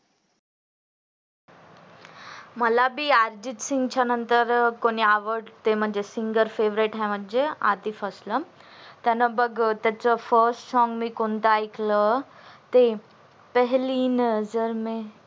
मला बि अर्जित सिंग च्या नंतर कोणी आवडत म्हणजे singer favorite आहे म्हणजे आतिफ अस्लम त्यानं बग first song मी कोणता ऐकला ते पेहेली नजर ने